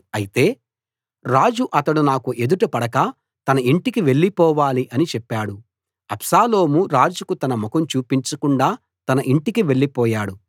అయితే రాజు అతడు నాకు ఎదుట పడక తన ఇంటికి వెళ్ళిపోవాలి అని చెప్పాడు అబ్షాలోము రాజుకు తన ముఖం చూపించకుండా తన ఇంటికి వెళ్ళిపోయాడు